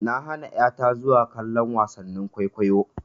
Na hana ƴa ta zuwa kallon wasannin kwaikwayo.